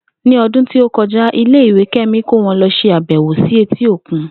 Ní o̩dún tí ó ko̩ja, ilé ìwé Ké̩mi kó wo̩n lo̩ s̩e àbè̩wò sí etí òkun